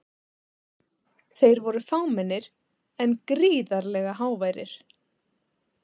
Þeir voru fámennir en gríðarlega háværir.